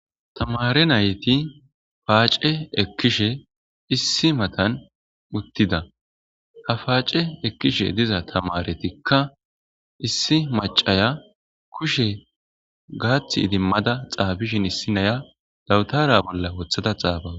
Thamaare na7ithi paace ekkishe issi mathan uththida; ha paace ekkishe diza thamaareththikka issi macca kushe gaththi idimmada xaafishen issi naayiya dawuthara bolla woththada xaafawus.